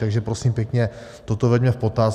Takže prosím pěkně, toto veďme v potaz.